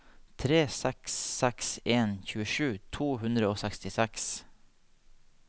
tre seks seks en tjuesju to hundre og sekstiseks